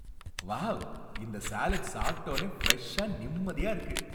Wow! இந்த salad சாப்பிட்டோனே ஃப்ரெஷ்ஷா, நிம்மதியா இருக்கு.